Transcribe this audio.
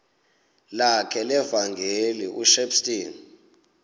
lakhe levangeli ushepstone